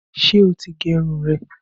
Ṣé o ti gẹ irun rẹ?